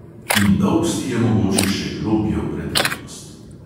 In dolbsti je mogoče še globje v preteklost …